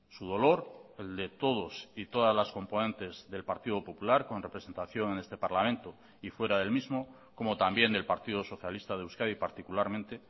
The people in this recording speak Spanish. su dolor el de todos y todas las componentes del partido popular con representación en este parlamento y fuera del mismo como también del partido socialista de euskadi particularmente